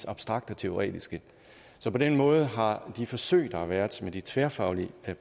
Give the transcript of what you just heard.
abstrakte og teoretiske så på den måde har de forsøg der har været med de tværfaglige